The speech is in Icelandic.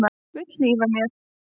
Vill hlífa mér.